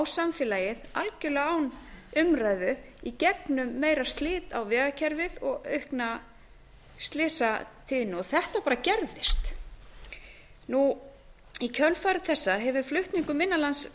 samfélagið algjörlega án umræðu í gegnum meira slit á vegakerfið og aukna slysatíðni þetta bara gerðist í kjölfar þessa hefur flutningum innan lands